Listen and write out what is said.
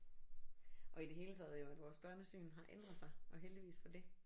Og i det hele taget jo at vores børnesyn har ændret sig og heldigvis for det